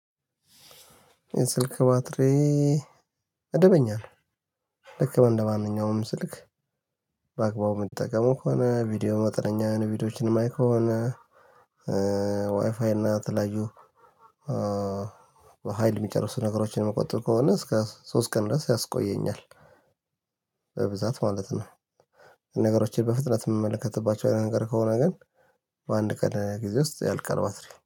የስልክ ባትሪዬ ደበኛ ነው ልክ እንደማንኛውም ስልክ በአግባቡ ምጠቀመው ከሆነ ቪዲዮ መጠነኛ የሆኑ ቪዲዮዎችን እማይ ከሆነ ዋይፋይ እና የተለያዩ ሀይል የሚጨርሱ ነገሮችን ምቆጥብ ከሆነ እስከ ሶስት ቀን ድረስ ያስቆየኛል። በብዛት ማለት ነው። ነገሮችን በፍጥነት የምመለከትባቸው አይነት ነገር ከሆነ ግን በአንድ ቀን ጊዜ ውስጥ ያልቃል ማለት ነው